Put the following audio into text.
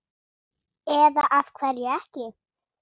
Eða af hverju ekki?